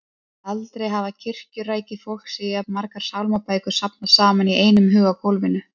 Aldrei hafði kirkjurækið fólk séð jafn margar sálmabækur safnast saman í einum haug á gólfinu.